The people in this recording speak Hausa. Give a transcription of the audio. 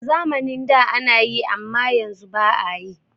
A zamanin da anayi amma yanzu ba'a yi.